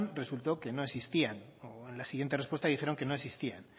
resultó que no existían o en la siguiente respuesta dijeron que no existían